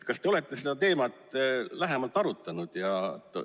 Kas te olete seda teemat lähemalt arutanud?